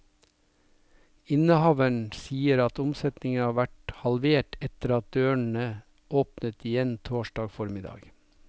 Innehaveren sier at omsetningen har vært halvert etter at dørene åpnet igjen torsdag formiddag.